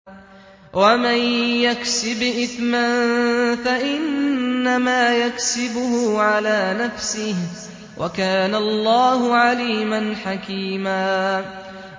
وَمَن يَكْسِبْ إِثْمًا فَإِنَّمَا يَكْسِبُهُ عَلَىٰ نَفْسِهِ ۚ وَكَانَ اللَّهُ عَلِيمًا حَكِيمًا